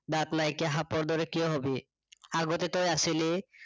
দাঁত নাইকিয়া সাপৰ দৰে কিয় হবি, আগতে তই আছিলি